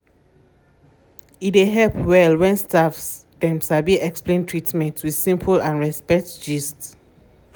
e dey help well when staffs dem sabi explain treatment with simple and respect gist.